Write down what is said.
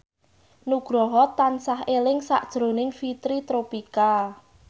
Nugroho tansah eling sakjroning Fitri Tropika